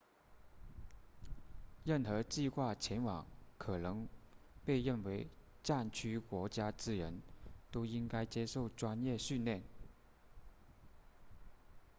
任何计划前往可能被认为战区国家之人都应该接受专业训练